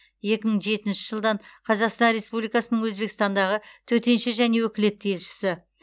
екі мың жетінші жылдан қазақстан республикасының өзбекстандағы төтенше және өкілетті елшісі